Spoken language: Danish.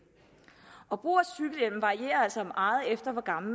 varierer altså meget efter hvor gammel